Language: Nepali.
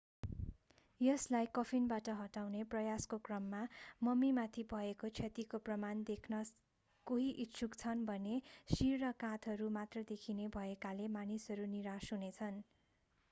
यसलाई कफिनबाट हटाउने प्रयासको क्रममा मम्मीमाथि भएको क्षतिको प्रमाण देख्न कोही इच्छुक छन् भने शिर र काँधहरू मात्र देखिने भएकाले मानिसहरू निराश हुनेछन्